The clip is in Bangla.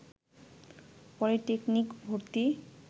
পলিটেকনিক ভর্তি